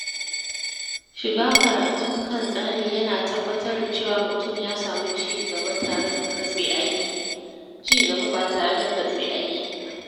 Shiga karatun kan tsari ya na tabbatar da cewa mutum ya samu ci gaba ba tare da katse aiki ba.